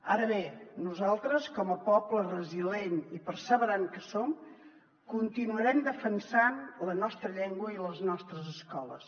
ara bé nosaltres com a poble resilient i perseverant que som continuarem defensant la nostra llengua i les nostres escoles